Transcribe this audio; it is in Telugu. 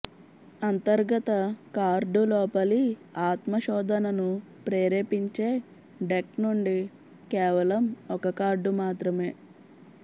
అంతర్గత కార్డు లోపలి ఆత్మ శోధనను ప్రేరేపించే డెక్ నుండి కేవలం ఒక కార్డు మాత్రమే